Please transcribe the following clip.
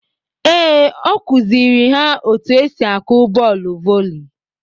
Ee ọ kụziiri ha otu esi akụ bọọlụ voli.